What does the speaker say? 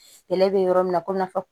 Yɛlɛ bɛ yɔrɔ min na komi n'a fɔ